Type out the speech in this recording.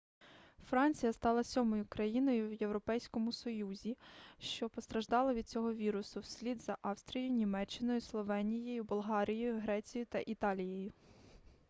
франція стала сьомою країною в європейському союзі що постраждала від цього вірусу вслід за австрією німеччиною словенією болгарією грецією та італією